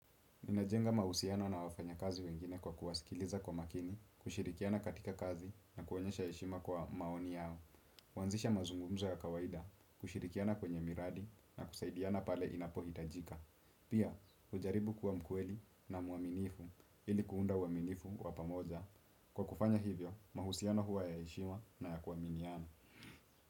Ninajenga mahusiano na wafanyakazi wengine kwa kuwasikiliza kwa makini, kushirikiana katika kazi na kuonyesha heshima kwa maoni yao. Kuanzisha mazungumzo ya kawaida, kushirikiana kwenye miradi na kusaidiana pale inapohitajika. Pia, hujaribu kuwa mkweli na mwaminifu ili kuunda uaminifu wa pamoja. Kwa kufanya hivyo, mahusiano huwa ya heshima na ya kuaminiana.